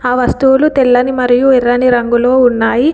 ఆ వస్తువులు తెల్లని మరియు ఎర్రని రంగులు ఉన్నాయి.